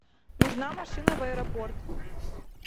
нужна машина в аэропорт